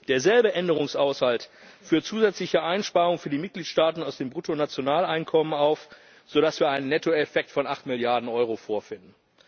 Derselbe Änderungshaushalt führt zusätzliche Einsparungen für die Mitgliedstaaten aus dem Bruttonationaleinkommen auf, sodass wir einen Nettoeffekt von 8 Milliarden Euro vorfinden.